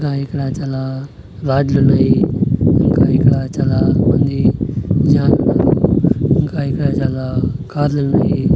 ఇంకా ఇక్కడ చాలా లాడ్జి లు ఉన్నాయి ఇంకా ఇక్కడ చాలా మంది జనాలున్నారు ఇంకా ఇక్కడ చాలా కార్ లు ఉన్నాయి.